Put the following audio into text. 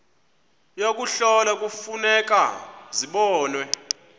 yokuhlola kufuneka zibonwe